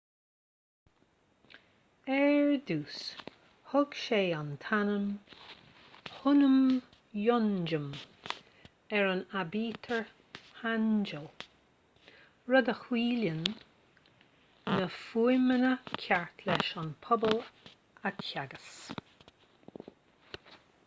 ar dtús thug sé an t-ainm hunmin jeongeum ar an aibítir hangeul rud a chiallaíonn na fuaimeanna cearta leis an pobal a theagasc